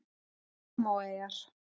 Samóaeyjar